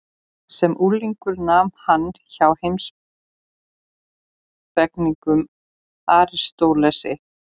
Sem unglingur nam hann hjá heimspekingnum Aristótelesi.